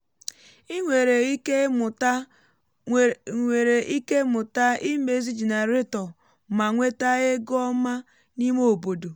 ị nwere ike mụta nwere ike mụta imezi jenareto ma nweta ego ọma n’ime obodo um